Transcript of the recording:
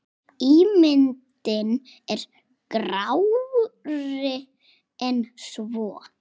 Ímyndin er grárri en svo.